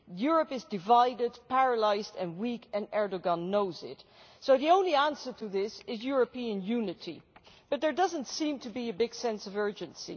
Europe is divided, paralysed and weak and Erdoğan knows it, so the only answer to this is European unity, but there does not seem to be a big sense of urgency.